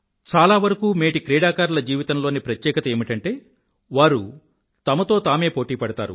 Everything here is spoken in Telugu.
చాలావరకూ మేటి క్రీడాకారుల జీవితంలోని ప్రత్యేకత ఏమిటంటే వారు తమతో తామే పోటీ పడతారు